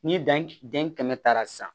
Ni dan kɛmɛ taara sisan